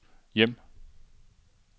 hjem